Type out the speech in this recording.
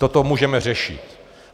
Toto můžeme řešit.